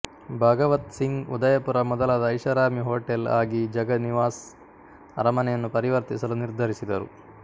ಭಾಗವತ್ ಸಿಂಗ್ ಉದಯಪುರ ಮೊದಲ ಐಷಾರಾಮಿ ಹೋಟೆಲ್ ಆಗಿ ಜಗ ನಿವಾಸ್ ಅರಮನೆಯನ್ನು ಪರಿವರ್ತಿಸಲು ನಿರ್ಧರಿಸಿದರು